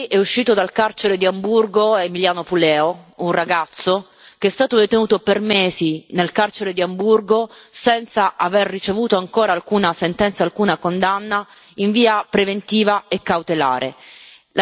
Ieri è uscito dal carcere di Amburgo, Emiliano Puleo, un ragazzo che è stato detenuto per mesi nel carcere di Amburgo, senza aver ricevuto ancora alcuna sentenza, alcuna condanna in via preventiva e cautelare.